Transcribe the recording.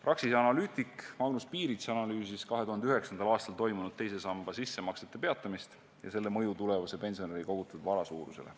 Praksise analüütik Magnus Piirits analüüsis 2009. aastal toimunud teise samba sissemaksete peatamist ja selle mõju tulevase pensionäri kogutud vara suurusele.